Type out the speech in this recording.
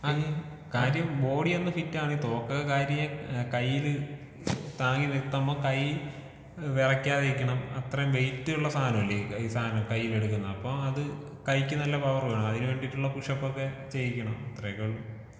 കാര്യം ബോഡി ഒന്ന് ഫിറ്റ് ആവണം.തോക്ക് കാര്യം കയ്യില് താങ്ങി നിർത്തുമ്പൊ കൈ വെറക്കാതെ ഇരിക്കണം.അത്രേം വെയിറ്റ് ഉള്ള സാധനല്ലേ ഈ സാനം കയ്യിലെടുക്കുന്നത്.അപ്പോ അത് കയ്ക്ക് നല്ല പവർ വേണം.അതിന് വേണ്ടീട്ടുള്ള പുഷ് അപ്പ് ഒക്കെ ചെയ്യിക്കണം അത്രെയെക്കെയുള്ളു.